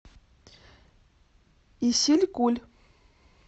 исилькуль